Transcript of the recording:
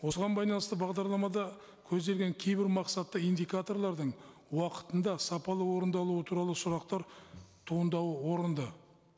осыған байланысты бағдарламада көзделген кейбір мақсатты индикаторлардың уақытында сапалы орындалуы туралы сұрақтар туындауы орынды